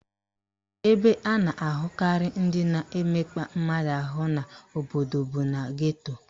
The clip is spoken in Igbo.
Ebe a na-ahụkarị ndị na-emekpa mmadụ ahụ n'obodo bụ na geto